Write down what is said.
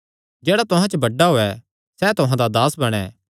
जेह्ड़ा तुहां च बड्डा होयैं सैह़ तुहां दा दास बणैं